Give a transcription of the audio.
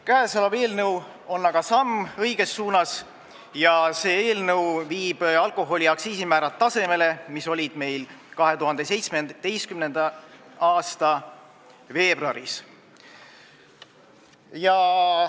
Käesolev eelnõu on aga samm õiges suunas, viies alkoholiaktsiisi määrad tasemele, mis olid meil 2017. aasta veebruaris.